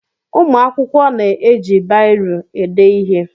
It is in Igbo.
Ụmụ akwụkwọ na-eji biro ede ihe